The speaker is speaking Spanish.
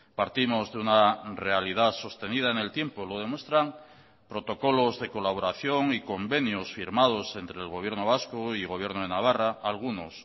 partimos de una realidad sostenida en el tiempo lo demuestran protocolos de colaboración y convenios firmados entre el gobierno vasco y gobierno de navarra algunos